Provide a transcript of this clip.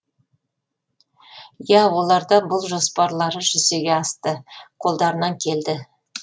иә оларда бұл жоспарлары жүзеге асты қолдарынан келді